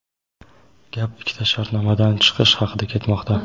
Gap ikkita shartnomadan chiqish haqida ketmoqda.